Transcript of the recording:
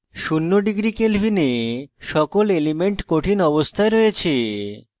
শূন্য degree kelvin সকল elements কঠিন solid অবস্থায় রয়েছে